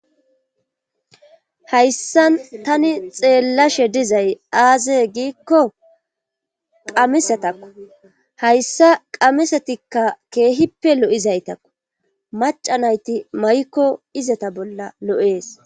Hayssan tani xeellashe dizay aaze giikko qamisatakku hayssa qamisatikka keehippe lo'izaytakku macanayti may'ikko izata bolla lo'ees.